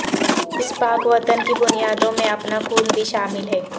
اس پاک وطن کی بنیادوں میں اپنا خون بھی شامل ہے